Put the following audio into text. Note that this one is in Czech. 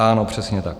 Ano, přesně tak.